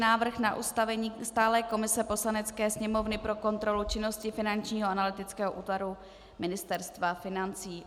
Návrh na ustavení stálé komise Poslanecké sněmovny pro kontrolu činnosti Finančního analytického útvaru ministerstva financí